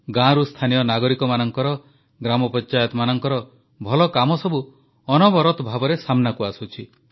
ଗାଁରୁ ସ୍ଥାନୀୟ ନାଗରିକମାନଙ୍କର ଗ୍ରାମପଞ୍ଚାୟତ ମାନଙ୍କର ଭଲକାମ ସବୁ ଅନବରତ ଭାବେ ସାମ୍ନାକୁ ଆସୁଛି